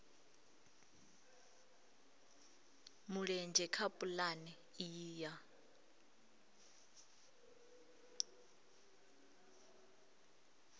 mulenzhe kha pulane iyi ya